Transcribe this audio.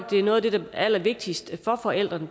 noget af det allervigtigste for forældrene